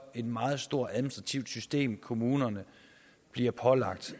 et meget stort administrativt system kommunerne bliver pålagt